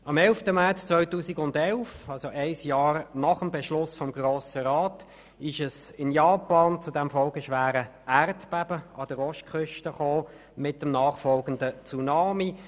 Am 11. März 2011 kam es in Japan zum folgeschweren Erdbeben an der Ostküste mit einem nachfolgenden Tsunami.